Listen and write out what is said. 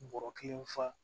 Bɔrɔ kelen fa